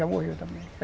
Já morreu também.